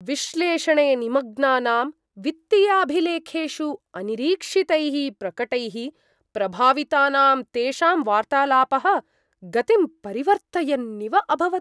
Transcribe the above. विश्लेषणे निमग्नानां, वित्तीयाभिलेखेषु अनिरीक्षितैः प्रकटैः प्रभावितानां तेषां वार्तालापः गतिं परिवर्तयन्निव अभवत्।